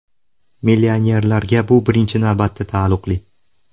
Millionerlarga bu birinchi navbatda taalluqli.